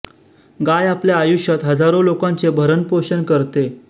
गाय आपल्या आयुष्यात हजारो लोकांचे भरण पोषण करते